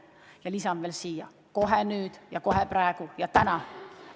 Ja lisan veel: kohe nüüd, kohe praegu ja täna.